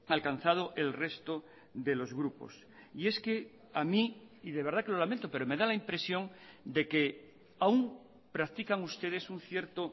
alcanzado el resto de los grupos y es que a mí y de verdad que lo lamento pero me da la impresión de que aún practican ustedes un cierto